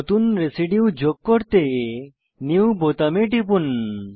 নতুন রেসিডিউ যোগ করতে নিউ বোতামে টিপুন